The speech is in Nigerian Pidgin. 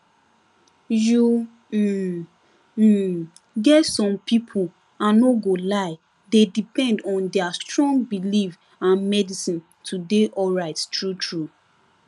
you um um get some people i no go lie dey depend on their strong belief and medicine to dey alright truetrue